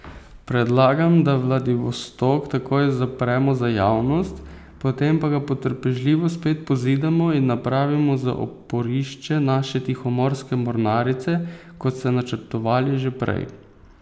Predlagam, da Vladivostok takoj zapremo za javnost, potem pa ga potrpežljivo spet pozidamo in napravimo za oporišče naše tihomorske mornarice, kot ste načrtovali že prej.